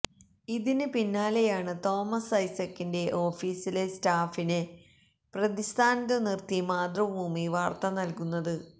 ഇതിന് പിന്നാലെയാണ് തോമസ് ഐസക്കിന്റെ ഓഫീസിലെ സ്റ്റാഫിനെ പ്രതിസ്ഥാനത്തു നിർത്തി മാതൃഭൂമി വാർത്ത നൽകുന്നത്